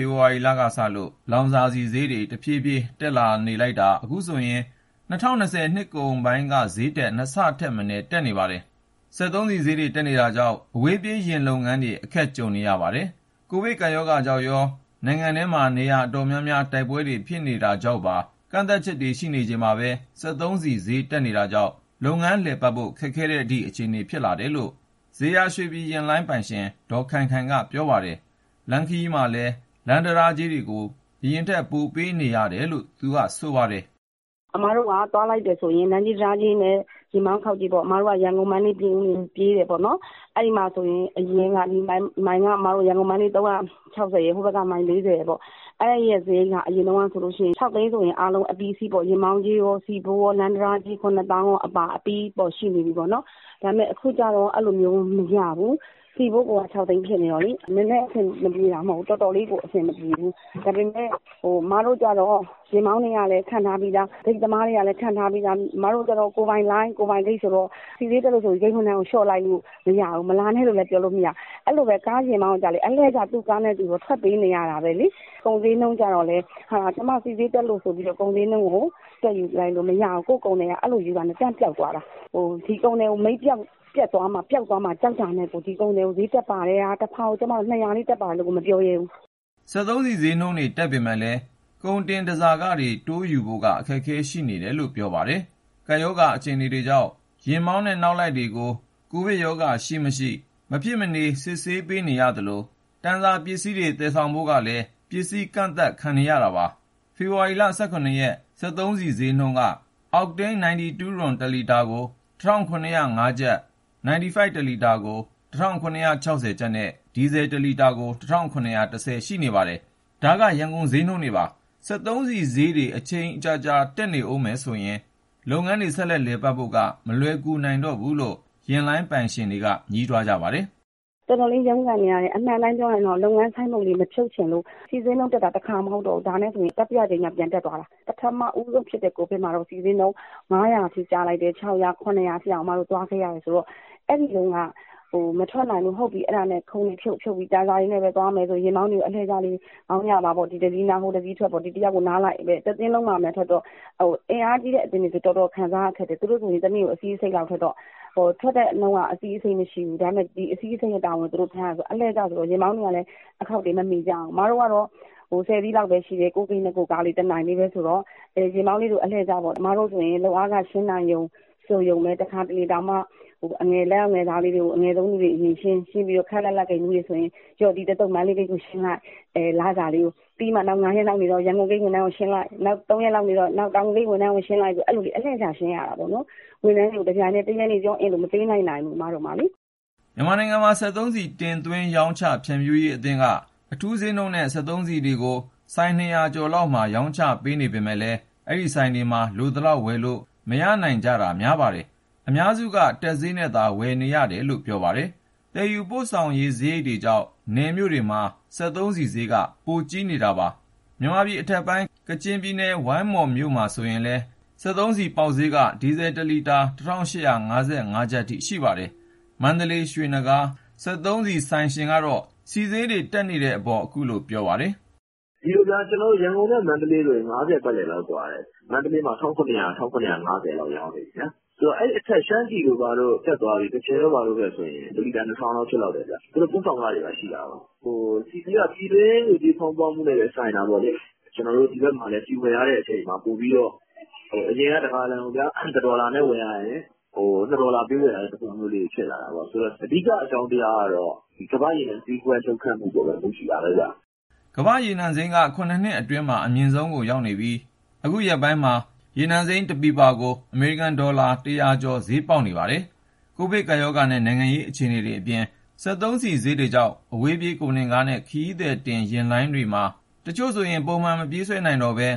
ဖေဖော်ဝါရီလကစလို့ လောင်စာဆီဈေးတွေ တဖြည်းဖြည်းတက်နေတာ အခုဆိုရင် ၂၀၂၀ နှစ်ကုန်ပိုင်းက ဈေးထက် ၂ ဆထက်မနည်း တက်နေပါတယ်။ စက်သုံးဆီဈေးတွေ တက်နေတာကြောင့် အဝေးပြေးယာဉ်လုပ်ငန်းတွေ အခက်တေ့ွနေကြပါတယ်။ ကိုဗစ်ကပ်ရောဂါကြောင့်ရော နိုင်ငံထဲ နေရာတော်တော်များများမှာ တိုက်ပွဲတွေဖြစ်နေတာကြောင့်ပါ ကန့်သတ်ချက်တွေရှိနေချိန်မှာပဲ စက်သုံးဆီဈေး တက်နေတာကြောင့် လုပ်ငန်းလည်ပတ်ဖို့ ခက်ခဲတဲ့အထိ အခြေအနေဖြစ်နေတယ်လို့ ဇေယျာရွှေပြည်ယာဉ်လိုင်း ပိုင်ရှင် ဒေါ် ခိုင်ခိုင်က ပြောပါတယ်။ လမ်းခရီးမှာ လမ်းတံတားကြေးတွေကိုလည်း ပိုပေးနေရတယ်လို့ သူက ခုလိုပြောပါတယ်။ "အစ်မတို့က သွားလိုက်တယ်ဆိုရင် လမ်းကြေး၊ တံတားကြေးနဲ့ ယာဉ်မောင်းခေါက်ကြေးပေါ့။ အစ်မတို့က ရန်ကုန်၊ မန္တလေး၊ ပြင်ဦးလွင် ပြေးတာပေါ့နော်။ အဲဒီမှာဆိုရင် အရင်းက ရန်ကုန် - မန္တလေး မိုင်က ၃၆၀ ရယ်၊ ဟိုဘက်က မိုင် ၄၀ ရယ်ပေါ့။ အဲဒီရဲ့ စရိတ်က အရင်တုန်းကဆိုရင် ၆ သိန်းဆိုရင် အားလုံးအပြီးအစီးပေါ့။ ယာဉ်မောင်းကြေးရော၊ ဆီဖိုး ရော၊ လမ်း တံတားကြေး ၇ သောင်းအပါ အပြီး ရှိနေပြီပေါ့နော်။ ဒါပေမယ့် အခုကျတော့ အဲလိုမျိုး မရဘူး။ ဆီဖိုးကိုက ၆ သိန်းဖြစ်နေတော့လေ၊ နည်းနည်းအဆင်မပြေတာ မဟုတ်ဘူး၊ တော်တော်လေးကို အဆင်မပြေဘူး။ ဒါပေမယ့် အစ်မတို့ကျတော့ ယာဉ်မောင်းတွေကလည်း ခန့်ထားပြီးသား၊ ဂိတ်သမားတွေကလည်း ခန့်ထားပြီးသား။ အစ်မတို့ကျတော့ ကိုယ်ပိုင်လိုင်း၊ ကိုယ်ပိုင်ဂိတ်ဆိုတော့ ဆီဈေးတက်လို့ဆိုပြီး ဝန်ထမ်းကလျှော့လိုက်လို့ မရဘူး။ မလာနဲ့လို့လည်း ပြောလို့မရဘူး။ အဲလိုပဲ ယာဉ်မောင်းကိုကျတော့လည်း သူ့ကားနဲ့သူတော့ ထွက်ပေးနေရတာပဲလေ။ ကုန်ဈေးနှုန်းကျတော့လည်း ကျမတို့ဆီဈေးတက်လို့ ဆိုပြီးတော့ ကုန်ဈေးကို တက်ယူလိုက်လို့မရဘူး။ ကိုယ့် ကုန်သည်က အဲလိုယူတာနဲ့ တန်းပျောက်သွားတာ။ ဒီကုန်သည်ကို မိတ်ပျက်သွားမှာ ပျောက်သွားမှာ ကြောက်တာနဲ့ကို တဖာကို ၂၀၀ လေး တက်ပါတယ်လို့ကို မပြောရဲဘူး။" စက်သုံးဆီဈေးနှုန်းတွေ တက်ပေမယ့်လည်း ကုန်တင် တန်ဆာခတွေ တိုးယူဖို့က အခက်အခဲတွေ ရှိနေတယ်လို့ ပြောပါတယ်။ ကပ်ရောဂါအခြေအနေကြောင့် ယာဉ်မောင်းနဲ့ နောက်လိုက်တွေမှာ ကိုဗစ်ကပ်ရောဂါရှိ-မရှိ အခကြေးငွေပေးပြီး မဖြစ်မနေ စစ်ဆေး ခံနေရသလို၊ တန်ဆာ ပစ္စည်းတွေ သယ်ဆောင်ဖို့ကိုလည်း ပစ္စည်းကန့်သတ်ခံနေရတာပါ။ ဖေဖော်ဝါရီလ ၁၇ ရက် စက်သုံးဆီဈေးနှုန်းတွေက အောက်တိန်း 92 တလီတာကို ၁,၇၀၅ ကျပ်၊ 95 တလီတာ ၁,၇၆၀ ကျပ်နဲ့ ဒီဇယ် တလီတာကို ၁,၇၁၀ အထိ ရှိနေပါတယ်။ ဒါက ရန်ကုန်ဈေးနှုန်းတွေပါ။ စက်သုံးဆီဈေးတွေ အချိန်ကြာကြာ တက်နေမယ်ဆိုရင် လုပ်ငန်းတွေ ဆက်လည်ပတ်နိုင်ဖို့က မလွယ်ကူတော့ဘူးလို့ ယာဉ်လိုင်းပိုင်ရှင်တွေက ညည်းတွားနေကြပါတယ်။ "တော်တော်လေး ရုန်းကန်နေရတယ်။ အမှန်တိုင်းပြောရရင်တော့ လုပ်ငန်း ဆိုင်းဘုတ်လေး မဖြုတ်ချင်လို့။ ဆီဈေးနှုန်းတက်တာက တခါ မဟုတ်တော့ဘူး။ ဒါနဲ့ဆိုရင် တတိယအကြိမ်မြောက် ပြန်တက်သွားတာ။ ပထမဦးဆုံးဖြစ်တဲ့ ကိုဗစ်မှာတုန်းက ဆီဈေးနှုန်း ၅၀၀၊ ၆၀၀၊ ၇၀၀ အထိတောင် အစ်မတို့ သွားခဲ့ရတယ်ဆိုတော့ အဲဒီတုန်းက မထွက်နိုင်လို့ ခုံတွေဖြုတ်ပြီး တန်ဆာနဲ့ပဲ သွားမယ်ဆိုပြီး ယာဉ်မောင်းတွေကို အလှည့်ကျလေး မောင်းကြပါပေါ့။ အင်အားကြီးတဲ့အသင်းတွေဆိုရင် တော်တော်ခံရတယ်။ သူတို့ဆိုရင် တနေ့ကို ၂၅ စီးလောက်ထွက်တော့ ထွက်တဲ့နှုန်းက အဲလောက်မရှိဘူး။ ဒါပေမယ့် ၂၅ စီးလုံးရဲ့ဝန်ကို သူတို့ ထမ်းရတယ်ဆိုတော့ ယာဉ်မောင်းတွေကလည်း အခေါက်တွေ မမီကြဘူး။ အစ်မတို့ကတော့ ၁၀ စီးလောက်ပဲရှိတယ်၊ ကိုယ့်ဂိတ်နဲ့ ကိုယ့်ကားလေး တနိုင်ပဲဆိုတော့ ယာဉ်မောင်းတွေကို အလှည့်ကျပေါ့။ အစ်မတို့ဆိုရင် လုပ်အားခ ရှင်းနိုင်တယ် ဆိုရုံလေးပဲ။ တခါတလေဆိုရင် အငယ်ဆုံး လုပ်သားလေးတွေကို အရင်ရှင်းပြီးတော့ ခပ်လတ်လတ် ဂိတ်မှူးတွေဆိုရင် ဒီတသုတ် မန္တလေးဂိတ်ကိုရှင်းလိုက်၊ နောက် ၅ ရက်လောက်နေမှ ရန်ကုန်ဂိတ် ဝန်ထမ်းတွေကို ရှင်းလိုက်။ နောက် ၃ ရက်လောက်နေတော့ တောင်ငူဂိတ် ဝန်ထမ်းကို ရှင်းလိုက်နဲ့ လစာကို အလှည့်ကျ ရှင်းရတာပေါ့နော်။ ဝန်ထမ်းတွေကို တပြိုင်တည်း တရက်တည်း လစာကို မပေးလိုက်နိုင်ဘူး အစ်မတို့မှာလေ။" မြန်မာနိုင်ငံ စက်သုံးဆီ တင်သွင်းရောင်းချ ဖြန့်ဖြူးရေးအသင်းက အထူးဈေးနှုန်းနဲ့ စက်သုံးဆီတွေကို ဆိုင် ၂၀၀ ကျော်လောက်မှာ ရောင်းချပေးနေပေမယ့်လည်း အဲဒီဆိုင်တွေမှာ လိုသလောက်ဝယ်လို့ မရနိုင်ကြတာ များပါတယ်။ အများစုက တက်ဈေးနဲ့သာ ဝယ်ယူနေရတာလို့ ပြောပါတယ်။ သယ်ယူပို့ဆောင်ရေးစရိတ်တွေကြောင့် နယ်မြို့တွေမှာ စက်သုံးဆီဈေးက ပိုများပါတယ်။ မြန်မာပြည်အထက်ပိုင်း ကချင်ပြည်နယ်၊ ဝိုင်းမော်မြို့မှာဆို ဒီနေ့ ဆီပေါက်ဈေးက ဒီဇယ်တလီတာ ၁,၈၅၅ ကျပ်အထိ ရှိပါတယ်။ မန္တလေး ရွှေနဂါး စက်သုံးဆီဆိုင်ရှင်ကတော့ စက်သုံးဆီဈေးတွေ တက်နေတဲ့အပေါ် သူ့အမြင်ကို ပြောပါတယ်။ "ဒီလိုဗျာ ကျနော်တို့ ရန်ကုန်နဲ့ မန္တလေးဆိုရင် ၅၀ ပတ်လည်လောက် ကွာတယ်။ မန္တလေးမှာ ၁,၇၀၀၊ ၁,၇၅၀ လောက် ရောင်းနေပြီဗျာ။ ဆိုတော့ အဲဒီအထက် ရှမ်းပြည်တို့ဘာတို့ တက်သွားပြီ၊ ကချင်တို့ဘာတို့ ဘက်ဆိုရင် ၁ လီတာ ၂,၀၀၀ လောက် ဖြစ်လောက်တယ်ဗျ။ သူတို့ ပို့ဆောင်ခတွေ ရှိတာကိုး။ ဆီဈေးက ပြည်တွင်းငွေကြေး ဖောင်းပွမှုနဲ့လည်း ဆိုင်တာပေါ့လေ။ ကျနော်တို့ ဒီဘက်မှာလည်း ဆီဝယ်ရတဲ့အချိန်မှာ ပိုပြီးတော့ အရင်က ၁ ဂါလံကိုဗျာ ၁ ဒေါ်လာနဲ့ ဝယ်ရရင် ခု ၂ ဒေါ်လာပေးဝယ်ရတဲ့ သဘောမျိုး ဖြစ်လာတာပေါ့။ ဆိုတော့ အဓိက အကြောင်းတရားကတော့ ဒီကမ္ဘာ့ရေနံ လှုပ်ခတ်မှုအပေါ်မှာပဲ မူတည်တာပဲဗျ။" ကမ္ဘာ့ရေနံစိမ်းက ၇ နှစ်အတွင်းမှာ အမြင့်ဆုံးကိုရောက်နေပြီး အခုရက်ပိုင်းမှာကို ရေနံစိမ်း တစည်ကို အမေရိကန်ဒေါ်လာ ၁၀၀ ကျော် ဈေးပေါက်နေပါတယ်။ ကိုဗစ်ကပ်ရောဂါနဲ့ နိုင်ငံရေးအခြေအနေတွေအပြင် စက်သုံးဆီဈေးတွေကြောင့် အဝေးပြေး ကုန်တင်ယာဉ်နဲ့ ခရီးသည်တင်ယာဉ်လိုင်းတွေမှာ တချို့ဆို ပုံမှန်မပြေးဆွဲနိုင်တော့ပဲ